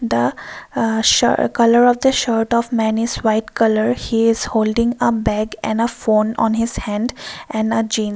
the a sha colour of the shirt of men is white colour she is holding a bag and a phone on his hand and a Jeans.